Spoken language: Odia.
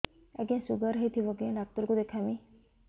ଆଜ୍ଞା ଶୁଗାର ହେଇଥିବ କେ ଡାକ୍ତର କୁ ଦେଖାମି